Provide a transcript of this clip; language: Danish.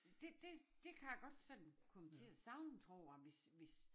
Det det kan jeg godt sådan komme til at savne tror jeg hvis hvis